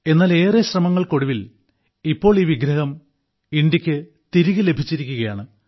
എന്നാൽ ഏറെ ശ്രമങ്ങൾക്കൊടുവിൽ ഇപ്പോൾ ഈ വിഗ്രഹം ഇന്ത്യക്ക് തിരികെ ലഭിച്ചിരിക്കുകയാണ്